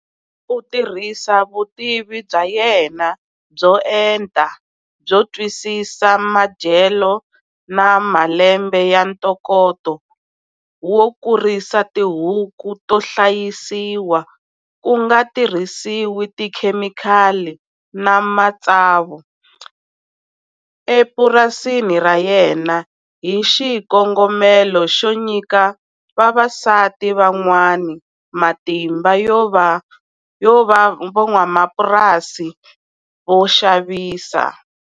U tirhisa vutivi bya yena byo enta byo twisisa madyelo na malembe ya ntokoto wo kurisa tihuku to hlayisiwa ku nga tirhisiwi tikhemikali na matsavu epurasini ra yena hi xikongomelo xo nyika vavasati van'wana matimba yo va van'wamapurasi vo xavisa.